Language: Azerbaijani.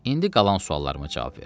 İndi qalan suallarıma cavab ver.